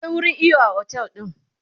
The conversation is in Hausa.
akwai wurin iyo a otel ɗin